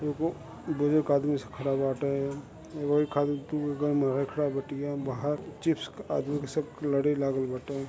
एगो बुजुर्ग आदमी सा खड़ा बाटे एगो ओरी आदमी बाहर चिप्स आदमी सब लड़ी लागल बाटे --